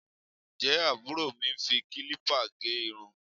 Ǹjẹ́ àbúrò mi ń fi kílípà gẹ irun?